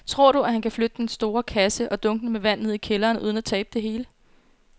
Tror du, at han kan flytte den store kasse og dunkene med vand ned i kælderen uden at tabe det hele?